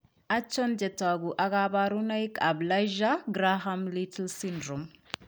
Achon chetogu ak kaborunoik ab Lassuer Graham Little syndrome?